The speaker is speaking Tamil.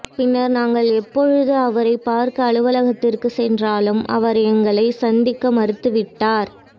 பின்னர் நாங்கள் எப்பொழுது அவரைப் பார்க்க அலுவலகத்திற்கு சென்றாலும் அவர் எங்களை சந்திக்க மறுத்துவிட்டார்